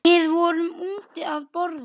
Við erum úti að borða.